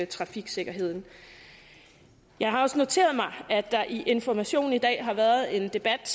trafiksikkerheden jeg har også noteret mig at der i information i dag har været en debat